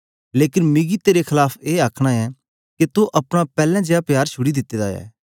लेकन मिकी तेरे खलाफ ए आखना ऐ के तो अपना पैलैं जीया प्यार छुड़ी दित्ते दा ऐ